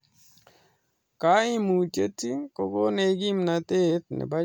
kaimutiet ko konech kimnatet nebo chamiyet missing